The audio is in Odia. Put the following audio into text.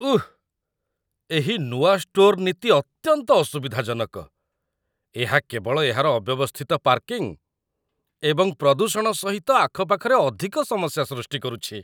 ଉଃ! ଏହି ନୂଆ ଷ୍ଟୋର୍‌ ନୀତି ଅତ୍ୟନ୍ତ ଅସୁବିଧାଜନକ। ଏହା କେବଳ ଏହାର ଅବ୍ୟବସ୍ଥିତ ପାର୍କିଂ ଏବଂ ପ୍ରଦୂଷଣ ସହିତ ଆଖପାଖରେ ଅଧିକ ସମସ୍ୟା ସୃଷ୍ଟି କରୁଛି